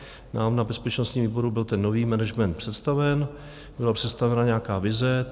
Nám na bezpečnostním výboru byl ten nový management představen, byla představena nějaká vize.